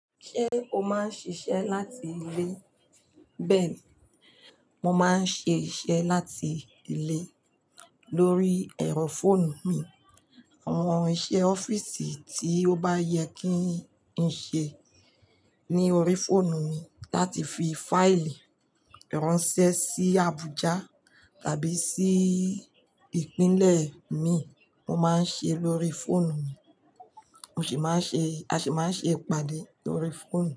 Ṣé o máa ń ṣiṣẹ́ láti ilé? Bẹ́ẹ̀ni, mo máa ń ṣe iṣẹ́ láti ilé lórí ẹ̀rọ fóònù mi. Àwọn iṣẹ́ ọ́fíìsì tí ó bá yẹ kí n ṣe ní orí fóònù mi láti fi fáìlì ránṣẹ́ sí Abuja tàbí sí ìpínlẹ̀ mi, mo máa ń ṣe lórí fóònù mi. Mo sì máa ń ṣe-- a sì máa ń ṣe ìpàdé lórí fóònù.